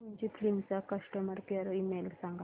Fujifilm चा customer care email सांगा